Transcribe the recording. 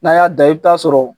N'an y'a da i be taa sɔrɔ